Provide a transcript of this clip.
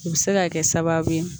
U bɛ se ka kɛ sababu ye